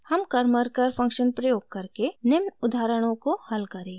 हम karmarkar function प्रयोग करके निम्न उदाहरणों को हल करेंगे: